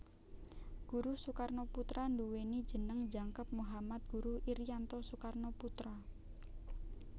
Guruh Soekarnoputra nduwèni jeneng jangkep Muhammad Guruh Irianto Soekarnoputra